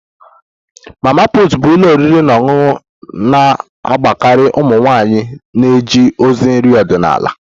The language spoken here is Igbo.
Mama put bụ ụlọ oriri na ọṅụṅụ na-agbakarị ụmụ nwanyị na-eje ozi nri ọdịnala